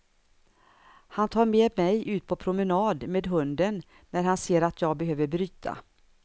Han tar med mig ut på promenad med hunden när han ser att jag behöver bryta.